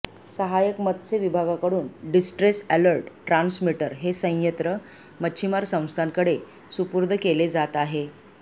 सहाय्यक मत्स्य विभागाकडून डिस्ट्रेस अॅलर्ट ट्रान्समीटर हे सयंत्र मच्छीमार संस्थांकडे सुपूर्द केले जात आहे